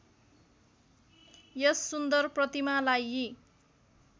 यस सुन्दर प्रतिमालाई